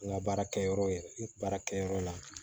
N ka baarakɛyɔrɔ ye baarakɛ yɔrɔ la